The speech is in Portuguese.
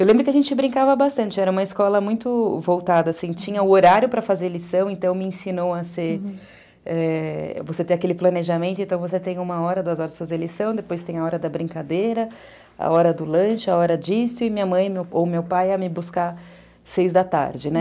Eu lembro que a gente brincava bastante, era uma escola muito voltada, assim, tinha o horário para fazer lição, então me ensinou a ser... é... Você tem aquele planejamento, então você tem uma hora, duas horas para fazer lição, depois tem a hora da brincadeira, a hora do lanche, a hora disso, e minha mãe ou meu pai ia me buscar seis da tarde, né?